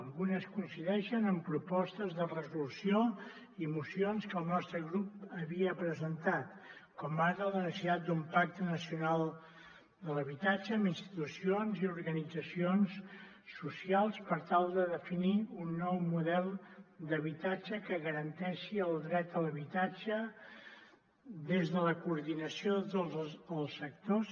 algunes coincideixen amb propostes de resolució i mocions que el nostre grup havia presentat com ara la necessitat d’un pacte nacional de l’habitatge amb institucions i organitzacions socials per tal de definir un nou model d’habitatge que garanteixi el dret a l’habitatge des de la coordinació de tots els sectors